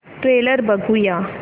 trailer बघूया